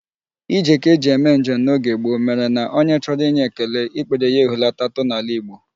Ije ka e ji eme njem n'oge gboo mere na onye chọrọ inye ekele, ikpere ya ehulatatụ n'ala Igbo.